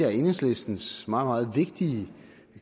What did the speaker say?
af enhedslistens meget meget vigtige